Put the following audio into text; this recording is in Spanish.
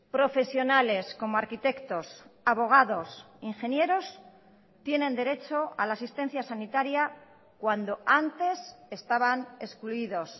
profesionales como arquitectos abogados ingenieros tienen derecho a la asistencia sanitaria cuando antes estaban excluidos